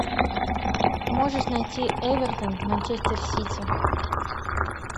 можешь найти эвертон манчестер сити